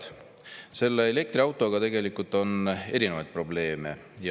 Head sõbrad, nende elektriautodega tegelikult on erinevaid probleeme.